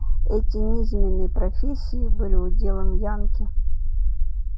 эти низменные профессии были уделом янки